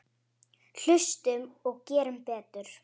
Hlustum og gerum betur.